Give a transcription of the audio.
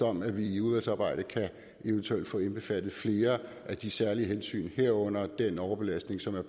om at vi i udvalgsarbejdet eventuelt kan få indbefattet flere af de særlige hensyn herunder den overbelastning som der